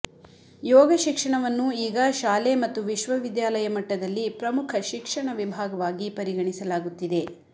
ಯೋಗ ಶಿಕ್ಷಣವನ್ನು ಈಗ ಶಾಲೆ ಮತ್ತು ವಿಶ್ವವಿದ್ಯಾಲಯ ಮಟ್ಟದಲ್ಲಿ ಪ್ರಮುಖ ಶಿಕ್ಷಣ ವಿಭಾಗವಾಗಿ ಪರಿಗಣಿಸಲಾಗುತ್ತಿದೆ